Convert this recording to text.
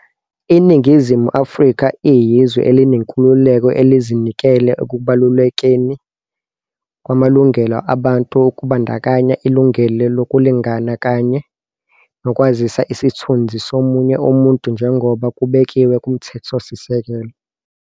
"INingizimu Afrika iyizwe elinenkululeko, elizinikele ekubalulekeni kwamalungelo abantu, kubandakanya ilungelo lokulingana kanye nokwazisa isithunzi somunye umuntu, njengoba kubekiwe kuMthethosisekelo."